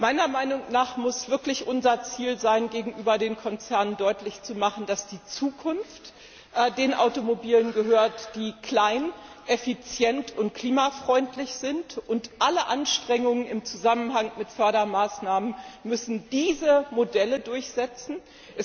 Meiner Meinung nach muss es wirklich unser Ziel sein, gegenüber den Konzernen deutlich zu machen, dass die Zukunft den Automobilen gehört, die klein, effizient und klimafreundlich sind, und dass alle Anstrengungen im Zusammenhang mit Fördermaßnahmen diese Modelle durchsetzen müssen.